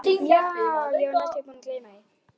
Já, ég var næstum búin að gleyma.